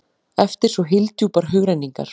eftir svo hyldjúpar hugrenningar?